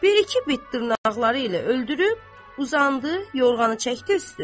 Bir-iki bit dırnaqları ilə öldürüb, uzandı, yorğanı çəkdi üstünə.